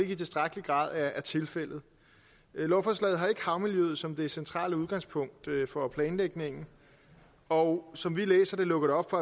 i tilstrækkelig grad er tilfældet lovforslaget har ikke havmiljøet som det centrale udgangspunkt for planlægningen og som vi læser det lukker det op for